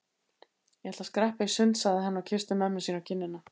Ég ætla að skreppa í sund sagði hann og kyssti mömmu sína á kinnina.